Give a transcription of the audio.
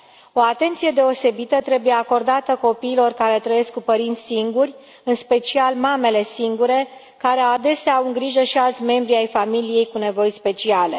O atenție deosebită trebuie acordată copiilor care trăiesc cu părinți singuri, în special mamele singure care adesea au în grijă și alți membri ai familiei cu nevoi speciale.